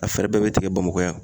A fɛɛrɛ bɛɛ bɛ tigɛ Bamakɔ yan